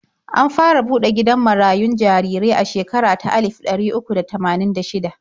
An fara buɗe gidan marayun jarirai a shekara ta alif ɗari uku da tamanin da shida.